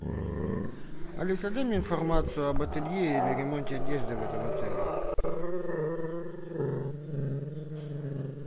алиса дай мне информацию об ателье или ремонте одежды в этом отеле